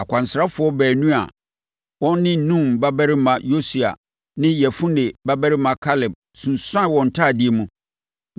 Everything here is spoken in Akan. Akwansrafoɔ baanu, a wɔn ne Nun babarima Yosua ne Yefune babarima Kaleb sunsuanee wɔn ntadeɛ mu